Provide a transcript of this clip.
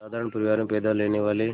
साधारण परिवार में पैदा लेने वाले